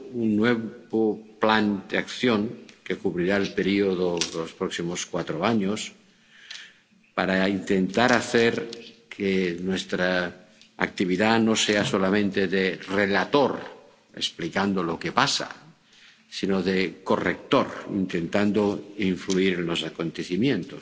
un nuevo plan de acción que cubrirá el periodo de los próximos cuatro años, para intentar hacer que nuestra actividad no sea solamente de relator, explicando lo que pasa, sino de corrector, intentando influir en los acontecimientos.